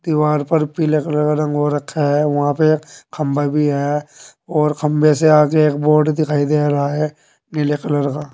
दीवार पर पीले कलर का रंग हो रखा है वहां पे खंभा भी है और खंभे से आगे एक बोर्ड दिखाई दे रहा है नीले कलर का।